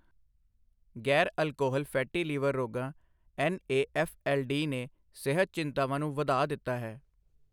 ਗ਼ੈਰ alcohol fatty liver ਰੋਗਾਂ NAFLD ਨੇ ਸਿਹਤ ਚਿੰਤਾਵਾਂ ਨੂੰ ਵਧਾ ਦਿੱਤਾ ਹੈ।